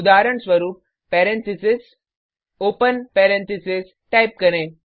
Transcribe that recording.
उदाहरणस्वरुप parentheses open parentheses type करें